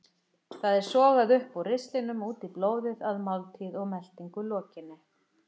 Það er sogað upp úr ristlinum út í blóðið að máltíð og meltingu lokinni.